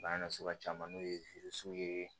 Bana na sugu caman n'o ye ye